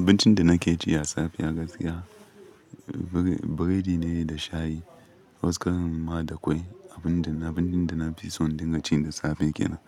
Abincin da nake ci ya safe a gaskiya, bu-biredi ne da shayi. Wani ƙarin ma da kwai, abun da na, abincin da na fi son dinga ci da safe kenan.